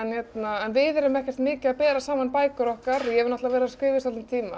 en við erum ekkert mikið að bera saman bækur okkar ég hef verið að skrifa í svolítinn tíma